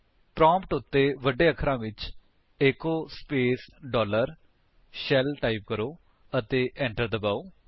prompt ਉੱਤੇ ਵੱਡੇ ਅਖਰਾਂ ਵਿੱਚ echo space dollar shell type ਕਰੋ ਅਤੇ enter ਦਬਾਓ